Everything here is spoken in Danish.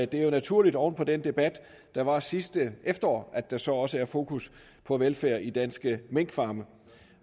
det er jo naturligt oven på den debat der var sidste efterår at der så også er fokus på velfærd i danske minkfarme